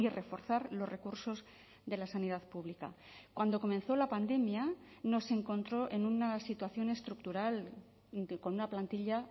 reforzar los recursos de la sanidad pública cuando comenzó la pandemia nos encontró en una situación estructural con una plantilla